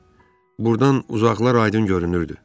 Burdan uzaqlar aydın görünürdü.